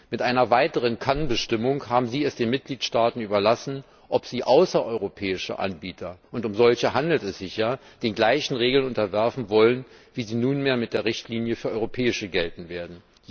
Mit einer weiteren Kannbestimmung haben Sie es den Mitgliedstaaten überlassen, ob sie außereuropäische Anbieter und um solche handelt es sich ja den gleichen Regeln unterwerfen wollen, wie sie nunmehr mit der Richtlinie für europäische Anbieter gelten werden.